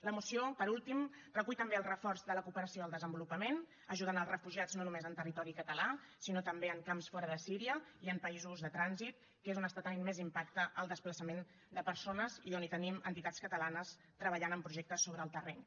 la moció per últim recull també el reforç de la cooperació al desenvolupament ajudant els refugiats no només en territori català sinó també en camps fora de síria i en països de trànsit que és on té més impacte el desplaçament de persones i on tenim entitats catalanes treballant en projectes sobre el terreny